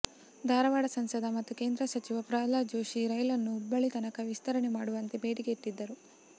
ಧಾರವಾಡ ಸಂಸದ ಮತ್ತು ಕೇಂದ್ರ ಸಚಿವ ಪ್ರಹ್ಲಾದ್ ಜೋಶಿ ರೈಲನ್ನು ಹುಬ್ಬಳ್ಳಿ ತನಕ ವಿಸ್ತರಣೆ ಮಾಡುವಂತೆ ಬೇಡಿಕೆ ಇಟ್ಟಿದ್ದರು